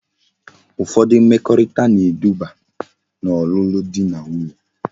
Ufodu mmekorita na edube na olulu di na nwunye